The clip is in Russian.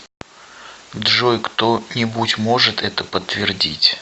джой кто нибудь может это подтвердить